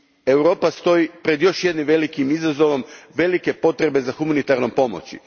Europa stoji pred još jednim velikim izazovom velike potrebe za humanitarnom pomoći.